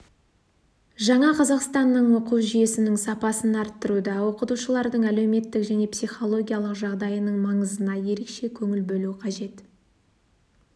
жаңа қазақстанның оқу жүйесінің сапасын арттыруда оқытушылардың әлеуметтік және психологиялық жағдайының маңызына ерекше көңіл бөлу қажет